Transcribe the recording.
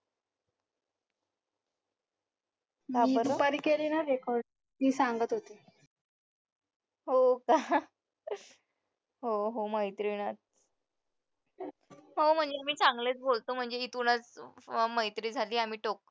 मी दुपारी केलेला record ती सांगत होती